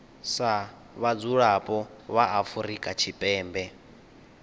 sa vhadzulapo vha afrika tshipembe